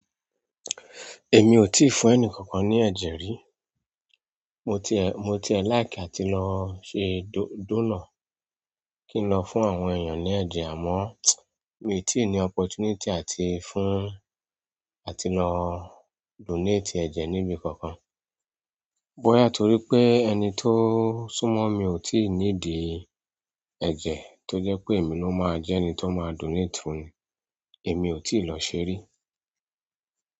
Èmi ò tíì fún ẹni kankan ní ẹ̀jẹ̀ rí. Mo tie, mo tie like àti lọ ṣe dónà kí n lọ fún àwọn èèyàn ní ẹ̀jẹ̀ àmọ́ mi ò tí ì ní opportunity àti fún àti lọ donate ẹ̀jẹ̀ níbi kankan. Bóyá torí pé ẹni tó súnmọ́ mi ò tí ì ní dì ẹ̀jẹ̀ tó jẹ́ pé èmi ló máa jẹ́ ẹni tó máa donate fún un. Èmi ò tíì lọ ṣe rí.